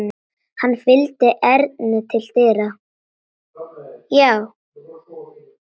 Hann fylgdi Erni til dyra.